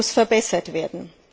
Was muss verbessert werden?